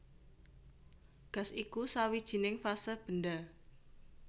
Gas iku sawijining fase benda